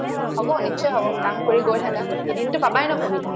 হব নিশ্চয় হব কাম কৰি গৈ থাকা এদিনতো পাবায়ে ন সুবিধা